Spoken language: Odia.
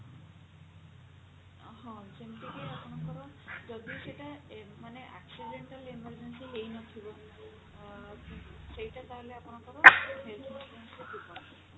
ହଁ ଯେମିତିକି ଆପଣଙ୍କର ଯଦି ସେଟା ମାନେ accidental emergency ହେଇ ନଥିବ ଅ ସେଇଟା ତାହେଲ ଆପଙ୍କର health insurance ରେ ଯିବନି